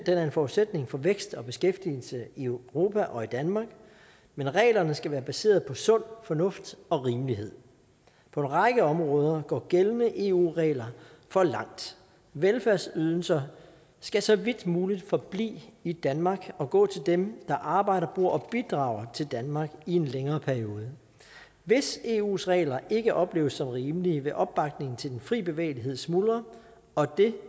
er en forudsætning for vækst og beskæftigelse i europa og i danmark men reglerne skal være baseret på sund fornuft og rimelighed på en række områder går gældende eu regler for langt velfærdsydelser skal så vidt muligt forblive i danmark og gå til dem der arbejder på at bidrage til danmark i en længere periode hvis eus regler ikke opleves som rimelige vil opbakningen til den fri bevægelighed smuldre og det